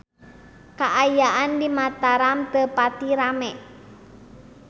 Kaayaan di Mataram teu pati rame